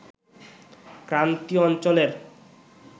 ক্রান্তীয় অঞ্চলের